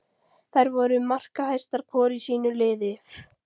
Þær voru markahæstar hvor í sínu liði.